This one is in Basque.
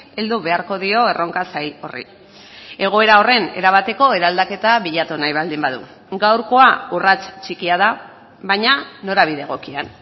heldu beharko dio erronka zail horri egoera horren erabateko eraldaketa bilatu nahi baldin badu gaurkoa urrats txikia da baina norabide egokian